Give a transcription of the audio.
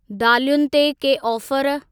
दालयुनि ते के ऑफर?